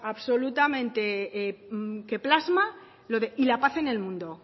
absolutamente que plasma lo de y la paz en el mundo